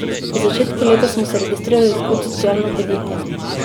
V začetku leta smo se registrirali kot socialno podjetje.